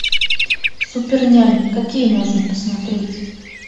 супер нянь какие можно посмотреть